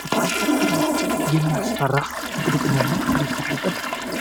በጣም የሚያስፈራ ድቅድቅ ደን ነው ይህ ድቅድቅ